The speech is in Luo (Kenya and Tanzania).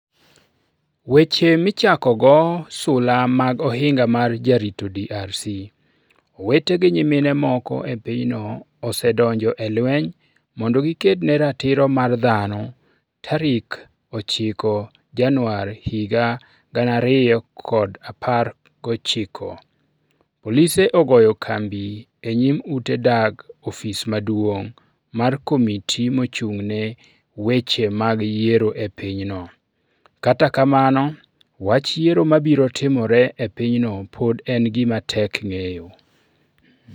Weche Michakogo Sula mag Ohinga mar Jarito DRC: Owete gi nyimine moko e pinyno osedonjo e lweny mondo giked ne ratiro mar dhano 9 Januar 2019 Polise ogoyo kambi e nyim ute dak ofis maduong ' mar Komiti Mochung ' ne Weche mag Yiero e pinyno Kata kamano, wach yiero mabiro timore e pinyno pod en gima tek ng'eyo.